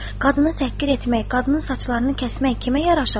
Qadını təhqir etmək, qadının saçlarını kəsmək kimə yaraşar?